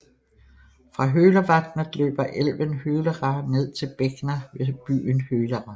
Fra Hølervatnet løber elven Hølera ned til Begna ved byen Hølera